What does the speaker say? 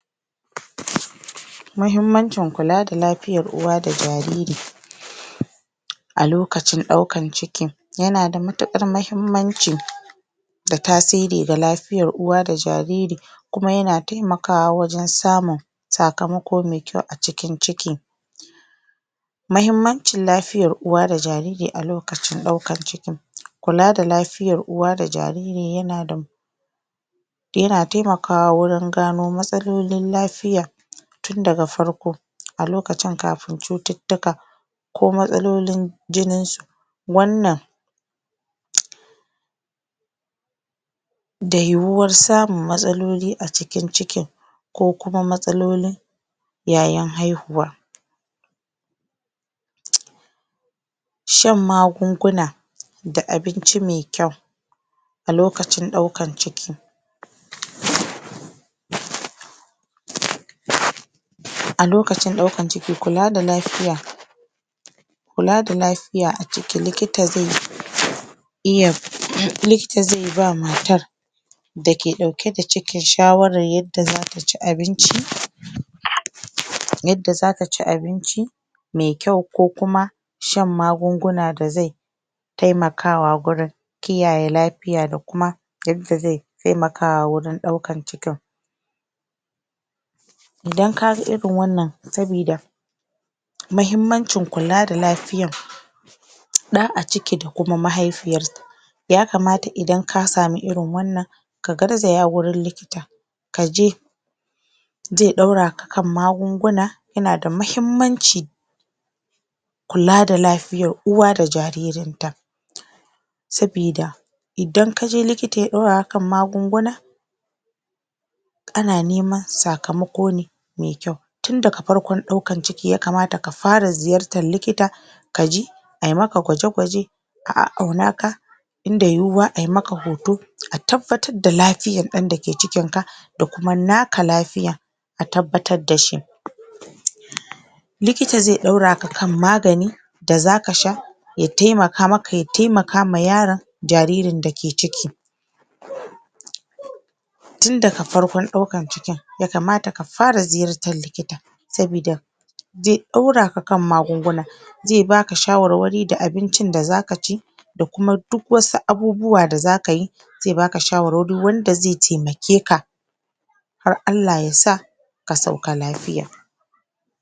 Mahimmancin kula da lafiyar uwa da jariri A lokacin daukan ciki. Yanada matuqar mahimmanci Da tasiri da lafiyar uwa da jariri Kuma yana taimakawa wajen samun sakamako me kyau a cikin ciki Mahimmancin lafiyar uwa da jariri a lokacin daukan ciki Kula da lafiyar uwa da jariri yanada Yana taimakawa wajen gano matsalolin lafiya Tun daga farko a lokacin kafi cututtuka ko matsalolin jininsu Wannan da yiwuwar samun matsaloli a cikin cikin ko kuma matsalolin yayin haihuwa shan magunguna da abinci mai kyau a lokacin daukan ciki A lokacin daukan cikin kula da lafiya kula da lafiya a ciki likita zai likita zai bawa matar da ke dauke da cikin shawarar yadda zata xi abinci yadda zata ci abinci mai kyau ko kuma shan magunguna da zai taimakawa gurin kiyaye lafiya da kuma yadda zai taimawa wajen daukan cikin Idan kaji irin wannan, sabida mahimmancin kula da lafiyar da a ciki da kuma mahaifiyarsa yakamata idan ka samu irin wannan ka garzaya wurin likita kaje zai dauraa kan magunguna yanada mahimmanci kula da lafiyar uwa da jariri sabida idan kaje likita ya dora ka an magunguna Ana neman sakamako ne mai kyau tun daga farkon daukan ciki ya kamata ka fara ziyartar likita kaji ai maka gwaje-gwaje a a'aunaka in da yiwuwa ay maka hoto a tabbatar da lafiyar - a daki cikinka da kuma naka lafiyar a tabbatar dashi likita zai doraka kan magani da zakasha Ya taimaka maka ya taimaka wa yaron jaririn dake ciki tun daga farkon daukan cikin ya kamata ka fara ziyartar likita sabida zai dauraka kan magunguna zai baka shawarwari da abincin da zakaci Da kuma duk wasu abubuwa da zakayi zai baka shawarwari wanda zai taimakeka har Allah yasa Ka sauka lafiya